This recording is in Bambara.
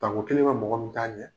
Banko kelen bɛ mɔgɔ min taa ɲɛ,